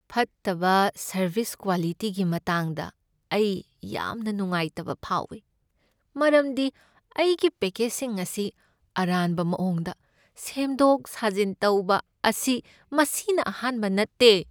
ꯐꯠꯇꯕ ꯁꯔꯕꯤꯁ ꯀ꯭ꯋꯥꯂꯤꯇꯤꯒꯤ ꯃꯇꯥꯡꯗ ꯑꯩ ꯌꯥꯝꯅ ꯅꯨꯡꯉꯥꯏꯇꯕ ꯐꯥꯎꯏ, ꯃꯔꯝꯗꯤ ꯑꯩꯒꯤ ꯄꯦꯀꯦꯖꯁꯤꯡ ꯑꯁꯤ ꯑꯔꯥꯟꯕ ꯃꯑꯣꯡꯗ ꯁꯦꯝꯗꯣꯛ ꯁꯥꯖꯤꯟ ꯇꯧꯕ ꯑꯁꯤ ꯃꯁꯤꯅ ꯑꯍꯥꯟꯕ ꯅꯠꯇꯦ ꯫